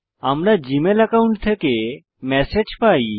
আমরা Gmail account থেকে message পাই